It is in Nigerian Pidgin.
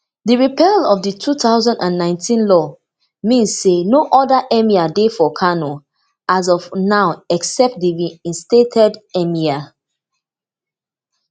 di repeal of di two thousand and nineteen law mean say no oda emir dey for kano as of now except di reinstated emir